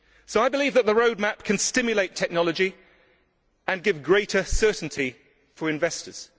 I believe that the Roadmap can stimulate technology and give greater certainty for investors.